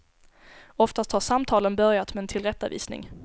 Oftast har samtalen börjat med en tillrättavisning.